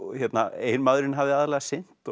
eiginmaðurinn hafði aðallega sinnt